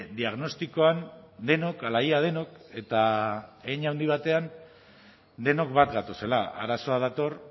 diagnostikoan denok ala ia denok eta hein handi batean denok bat gatozela arazoa dator